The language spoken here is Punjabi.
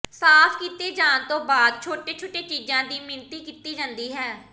ਸਾਫ ਕੀਤੇ ਜਾਣ ਤੋਂ ਬਾਅਦ ਛੋਟੇ ਛੋਟੇ ਚੀਜਾਂ ਦੀ ਮਿਣਤੀ ਕੀਤੀ ਜਾਂਦੀ ਹੈ